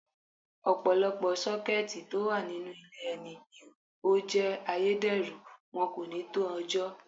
Ọ̀pọ̀lọpọ̀ Sọ́kẹ́tì tó wà nínú ilé ẹ ní ó jé ayédèrú, wọn kò ní tó ọjọ́.